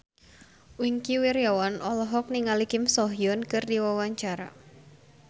Wingky Wiryawan olohok ningali Kim So Hyun keur diwawancara